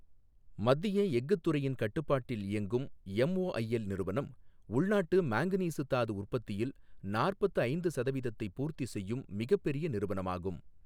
மத்திய எஃகுத் துறையின் கட்டுப்பாட்டில் இயங்கும் எம்ஒஐஎல் நிறுவனம் உள்நாட்டு மாங்கனீசு தாது உற்பத்தியில் நாற்பத்து ஐந்து சதவீதத்தை பூர்த்தி செய்யும் மிகப்பெரிய நிறுவனமாகும்.